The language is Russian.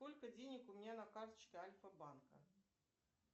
сколько денег у меня на карточке альфа банка